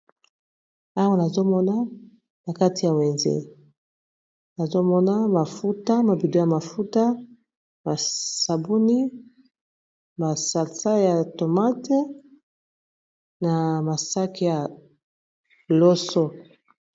awa nazomona na kati ya wenze nazomona mafuta mabido ya mafuta masabuni masalsa ya tomate na masaki ya loso